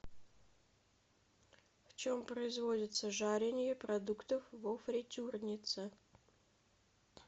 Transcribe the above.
в чем производится жаренье продуктов во фритюрнице